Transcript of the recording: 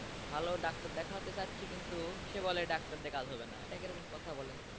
ভালো ডাক্তার দেখাতে চাচ্ছি কিন্তু সে বলে ডাক্তার দিয়ে কাজ হবে না এটা কি রকম কথা বলেন তো।